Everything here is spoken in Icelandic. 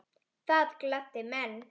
Það gladdi menn.